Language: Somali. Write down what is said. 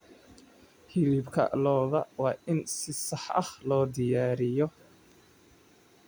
Hilibka lo'da waa in si sax ah loo diyaariyaa.